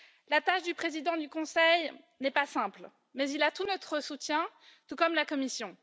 La tâche du président du Conseil n'est pas simple, mais il a tout notre soutien, tout comme la Commission.